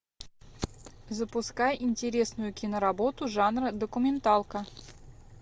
запускай интересную киноработу жанра документалка